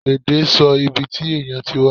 Ẹde sọ ìbí tí ènìyàn tí wá